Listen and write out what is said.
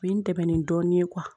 U bɛ n dɛmɛ ni dɔɔnin ye